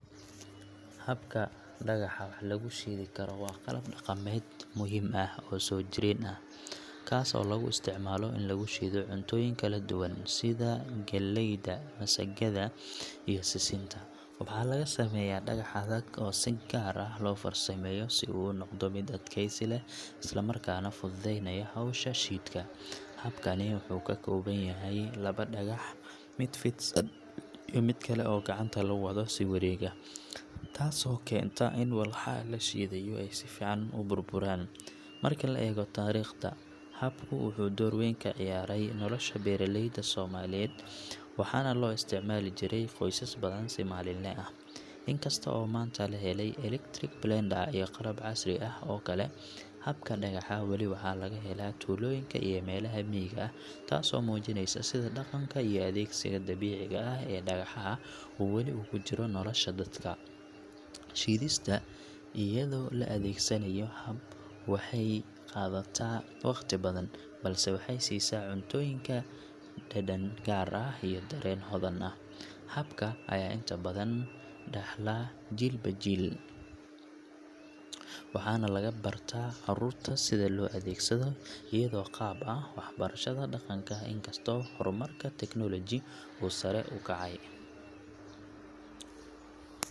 Habka dagaxa wax logu shidi karo waa qalab daqamed muhim ah oo sojiren ah, kasi oo lagu istacmalo ini lagushido cuntoyin kaladuwan sidha galeyda, misikada iyo sisinta waxa laga sameyah dagax adhag oo si gar ah losameyo si uu unoqdo mid adkeysi leh isla marka nah dududeynayo hosha shidka, habkani wuxu kakobanyahay labo dagax mid fidsan iyo mid kale oo gacanta lagu wado si wareg ah tasi kenta ini waxa lashidayo oo ay sifican uburburan, marka laego tariqda, habku wuxu dor weyn kaciyare nolosha beraleyda somaliyed, waxa nah loo istacmali jire qosas badhan si malin laa ah inkasto oo manta laheley electric blender iyoh qalab casri ah okale, habka dagaxa weli waxa lagahela tuloyinka iyoh melaha miga tasi oo mujineysa sidha daqanka iyoh adegsiga dabiciga ah ee dagaxa uu weli ujiro nolosha dadka, shidista iyadho laa adegsanayo habab waxay qadata waqti badhan balse waxay sisa cuntoyinka deden gar ah iyoh daren hodan ah habka aya inta badhan daxla jil ba jil waxa nah laga barta carurta sidha loo adegsadho iyadho qab ah waxbarasho daqanka inkasto hormarka teknolojiyada uu sare ukacay.